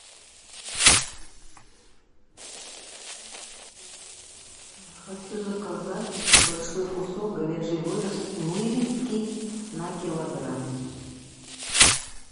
хочу заказать большой кусок говяжьей вырезки на килограмм